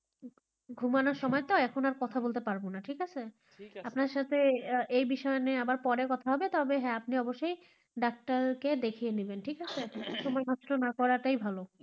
ঘুমানোর সময় তো এখন আর কথা বলতে পারব না ঠিক আছে, আপনার সাথে এ বিষয় নিয়ে আবার পরে কথা হবে, তবে হ্যাঁ আপনি অবশ্যই ডাক্তারকে দেখিয়ে নেবেন, ঠিক আছে, সময় থাকতে করাটাই ভালো.